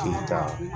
Tigi ka